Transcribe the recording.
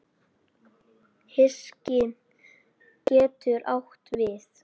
Hyski getur átt við